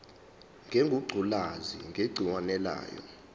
ngengculazi negciwane layo